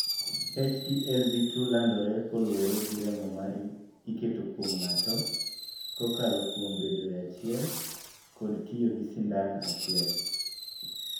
HTLV2 landore kaluwore gi remo ma iketo kuom ng'ato, kokalo kuom bedoe achiel, koda tiyo gi sindan achiel.